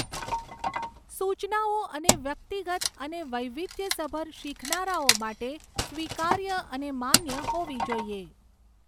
સૂચનાઓ અને વ્યક્તિગત અને વૈવિધ્યસભર શીખનારાઓ માટે સ્વીકાર્ય અને માન્ય હોવી જોઈએ.